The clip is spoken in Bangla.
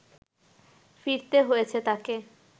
ফিরতে হয়েছে তাকে